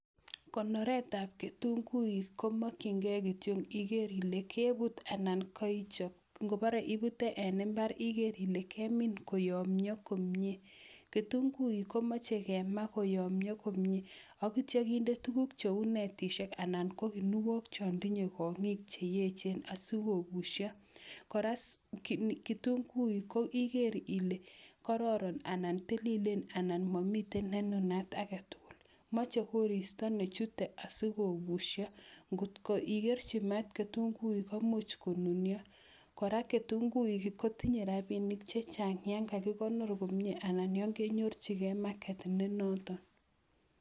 Konoretab kitunguik komokchingei kitio iger ile kebut anan kaichob. Ngobare ibute en imbar iger ile kemin koyomnyo komnye. KItunguik komache kema koyomnyo komye agitio kinde tuguk cheu netishek anan ko kinuok cho ndinye konyik che echen asikogusho. Kora kitunguik ko iger ile kororon anan tililen anan mamite ne nunat age tugul. Mache koristo nechute asikogusho. Ngotko igerchi maat kitunguik komuch konunio. Kora kitunguik kotinye rabinik chechang yo kakigonor komnye anan yo kenyorchigei market ne noton.